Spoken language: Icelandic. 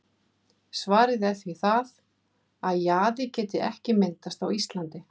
Svarið er því það, að jaði geti ekki myndast á Íslandi.